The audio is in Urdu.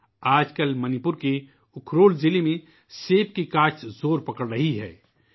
آج کل منی پور کے ضلع اخرول میں سیب کی کاشت زور پکڑتی جارہی ہے